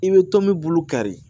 I bɛ tɔn min bulu kari